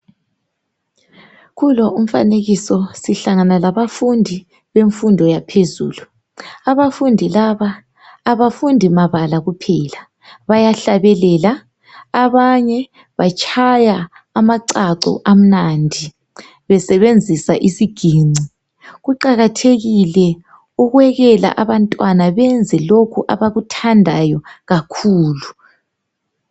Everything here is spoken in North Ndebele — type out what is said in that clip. Kulo umfanekiso sihlangana labafundi bemfundo yaphezulu .Abafundi laba abafundi mabala kuphela .Bayahlabelela abanye batshaya amachacho amnandi besebenzisa isiginci .Kuqakathekile ukwekela abantwana benze lokhu abakuthandayo kakhulu .